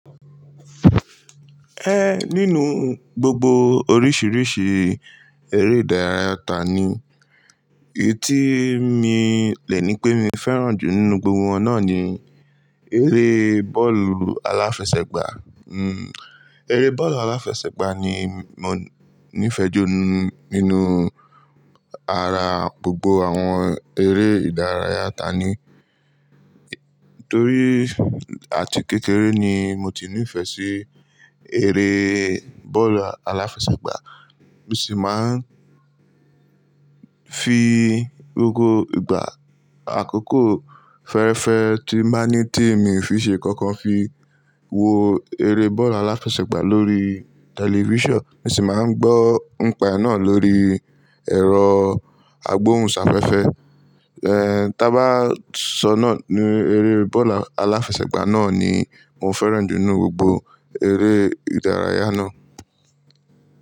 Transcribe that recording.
Ẹ nínú gbogbo oríṣiríṣi eré ìdárayá ta ni èyí tí mi lẹni pé mi fẹràn jù nínú gbogbo wọn náà ni eré bọ́ọ̀lù aláfẹsẹ̀gbá. Eré bọ́ọ̀lù aláfẹsẹ̀gbá ni mọ níí fẹjú nínú ara gbogbo àwọn eré ìdárayá ta ni. Torí àti kékeré ni mo ti ní ìfẹ sí eré bọ́ọ̀lù aláfẹsẹ̀gbá, mo sì máa ń fi gbogbo ìgbà àkókò fẹ́rẹ́fẹ́ tí máa ní tí mi fi ṣe ikankan fi wo eré bọ́ọ̀lù aláfẹsẹ̀gbá lórí television. Mo sì máa ń gbọ́ npa náà lórí ẹ̀rọ agbóhùnsáfẹ́fẹ́. Tá bá sọ náà ni eré bọ́ọ̀lù aláfẹsẹ̀gbá náà ni mo fẹràn jù nínú gbogbo eré ìdárayá náà.